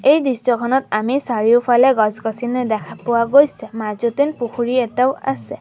এই দৃশ্যখনত আমি চাৰিওফালে গছ-গছনি দেখা পোৱা গৈছে মাজত যেন পুখুৰী এটাও আছে।